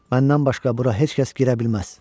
Məndən başqa bura heç kəs girə bilməz.